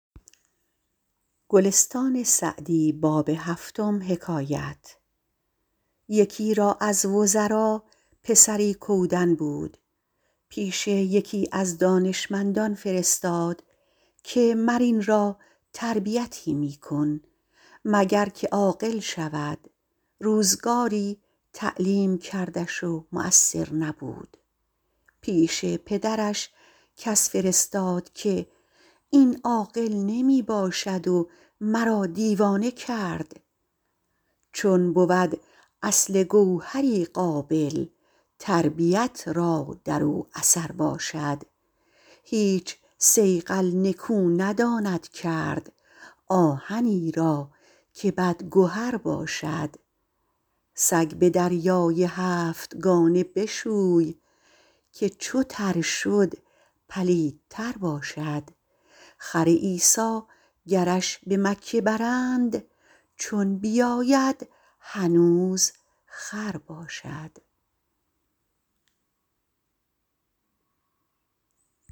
یکی را از وزرا پسری کودن بود پیش یکی از دانشمندان فرستاد که مر این را تربیتی می کن مگر که عاقل شود روزگاری تعلیم کردش و مؤثر نبود پیش پدرش کس فرستاد که این عاقل نمی باشد و مرا دیوانه کرد چون بود اصل گوهری قابل تربیت را در او اثر باشد هیچ صیقل نکو نداند کرد آهنی را که بدگهر باشد سگ به دریای هفتگانه بشوی که چو تر شد پلیدتر باشد خر عیسی گرش به مکه برند چون بیاید هنوز خر باشد